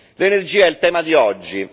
L'energia è il tema di oggi.